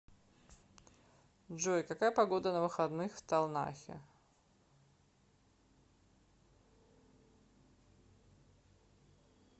джой какая погода на выходных в талнахе